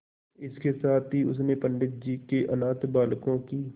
इसके साथ ही उसने पंडित जी के अनाथ बालकों की